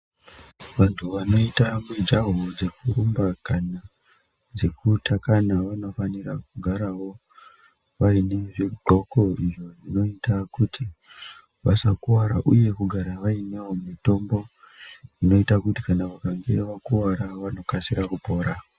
Vantu vanoita mijaho dzekurumba kana dzekutakana. Vanofanira kugaravo vaine zvidhloko izvo zvinoite kuti vasakuvara, uye kugara vainevo mitombo inoite kuti vakange vakuvara vanokasira kupora.